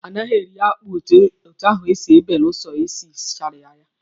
A naghị eri akpụ etu ahụ belụsọ e sichara ya.